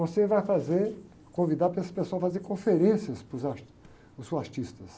Você vai fazer, convidar para essa pessoa fazer conferências para os art, seus artistas.